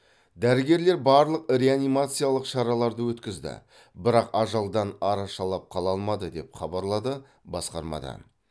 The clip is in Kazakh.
дәрігерлер барлық реанимациялық шараларды өткізді бірақ ажалдан арашалап қала алмады деп хабарлады басқармадан